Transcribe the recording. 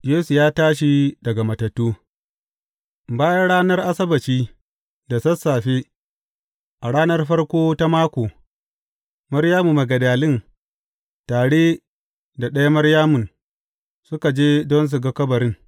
Yesu ya tashi daga matattu Bayan ranar Asabbaci, da sassafe, a ranar farko ta mako, Maryamu Magdalin tare da ɗaya Maryamun, suka je don su ga kabarin.